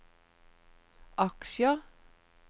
aksjer